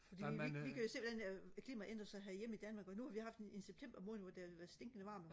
fordi vi vi kan jo se hvordan klimaet ændrer sig herhjemme i Danmark og nu har vi haft en en september måned hvor der har været stinkende varmt